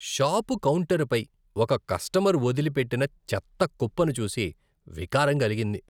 Shop కౌంటరుపై ఒక customer వదిలిపెట్టిన చెత్త కుప్పను చూసి వికారం కలిగింది.